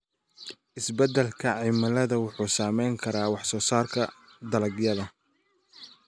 Isbeddelka cimiladu wuxuu saameyn karaa waxsoosaarka dalagyada.